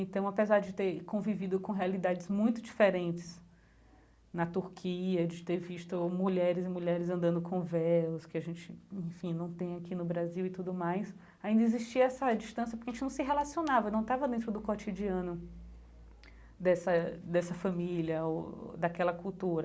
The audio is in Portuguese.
Então, apesar de ter convivido com realidades muito diferentes na Turquia, de ter visto mulheres e mulheres andando com véus, que a gente, enfim, não tem aqui no Brasil e tudo mais, ainda existia essa distância porque a gente não se relacionava, não estava dentro do cotidiano dessa dessa família, ou daquela cultura.